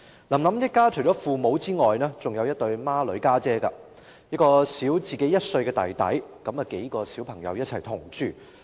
"林林"一家除了父母之外，還有一對雙胞胎姊姊，另有一名比她小1歲的弟弟，數名小孩同住。